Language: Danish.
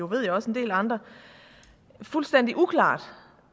ved jeg også en del andre fuldstændig uklart